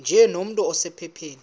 nje nomntu osephupheni